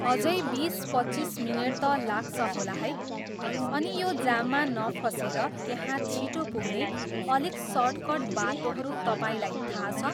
अझै बिस पच्चिस मिनट त लाग्छ होला है, अनि यो जाममा नफसेर त्यहाँ छिटो पुग्ने अलिक सर्टकर्ट बाटोहरू तपाईँलाई थाहा छ?